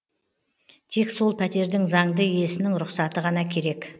тек сол пәтердің заңды иесінің рұқсаты ғана керек